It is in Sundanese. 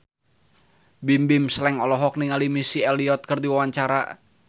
Bimbim Slank olohok ningali Missy Elliott keur diwawancara